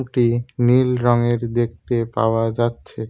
একটি নীল রঙের দেখতে পাওয়া যাচ্ছে।